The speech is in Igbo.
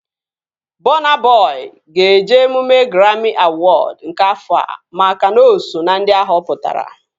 Bọna Bọi ga-eje emume graami awọd nke afọa makana o so ná ndị a họpụtara